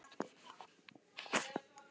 En hversu algengt er það?